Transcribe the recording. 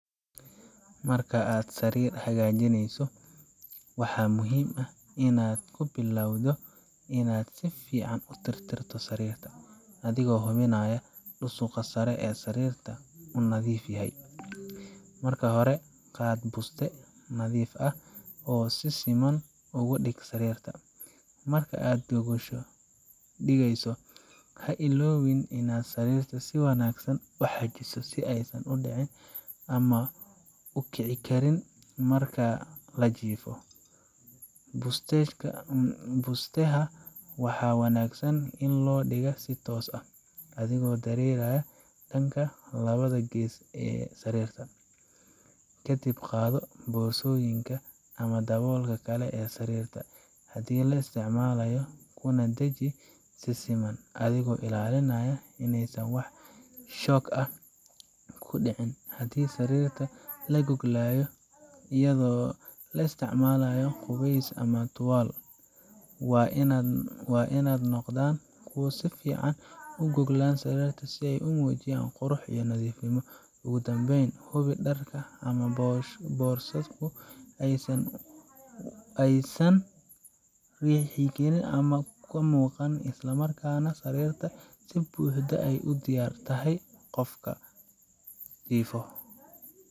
Marka aad sarir hagajineso waxa muhim ah ini sarirta aa si fican u tirtirto adigo hubinaya dusuga sare ee sarirta nadif yahay. Sarirta oo nadiif ah waa mid ka mid ah waxyaabaha ugu muhiimsan ee guri kasta lagu dareemo raaxo, nadaafad, iyo deganaansho. Marka sarir laga dhigo mid si joogto ah loo nadiifiyo, waxay ka hortagtaa ur xun, bakteeriyada, cayayaanka yaryar sida kaneecada ama duqsiga sariirta , iyo waxay sidoo kale kor u qaadaa tayada hurdada. Dharka sariirta, sida gogosha, barkimada iyo joodariga, marka si joogto ah loo dhaqo loona qalajiyo, waxay gacan ka geystaan ilaalinta caafimaadka qofka, gaar ahaan dadka qaba xasaasiyado. Intaa waxaa dheer, sariir nadiif ah waxay kor u qaaddaa niyadda qofka marka uu hurdada galayo ama hurdada ka soo tooso, maadaama ay dareensiiso nadaafad, nadiifnimo iyo daryeel. Nidaaminta sariirta subax kasta, iska saarka wasakhda iyo boodhka, iyo hagaajinta barkimaha iyo gogosha waxay tusinayaan hab nololeed habaysan. Ugu danbeyn hubi ini sarirta si xda diyar ugu tahay qofka jifo.